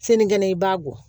Sinikɛnɛ i b'a bɔ